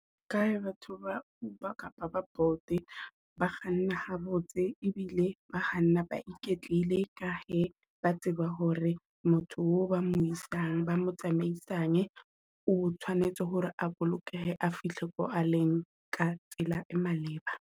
Ka ha batho ba Uber kapa ba Bolt ba kganne ha botse e bile ba kganna ba iketlile, ka he ba tseba hore motho o ba mo isang, ba mo tsamaisang otshwanetse hore a bolokehe, a fihle ko a leng ka tsela e maleba.